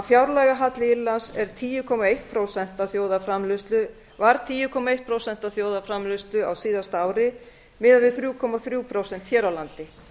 fjárlagahalli írlands er tíu komma eitt prósent af þjóðarframleiðslu var tíu eitt prósent af þjóðarframleiðslu á síðasta ári miðað við þrjú komma þrjú prósent hér á landi